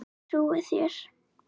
Ég trúi þér